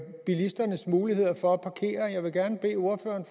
bilisternes muligheder for at parkere jeg vil gerne bede ordføreren